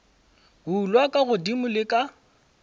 bulwa ka godimo le ka